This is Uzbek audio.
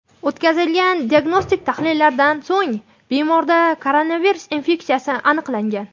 O‘tkazilgan diagnostik tahlillardan so‘ng bemorda koronavirus infeksiyasi aniqlangan.